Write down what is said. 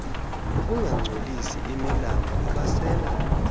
ukungangcolisi imilambo abasela